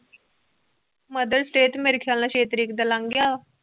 mothers day ਤਾ ਮੇਰੇ ਖਿਆਲ ਛੇ ਤਾਰੀਕ ਦਾ ਲੰਘ ਗਿਆ